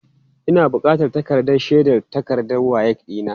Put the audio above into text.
Ina bukatan takardar shaidar takardar WAEC ɗina.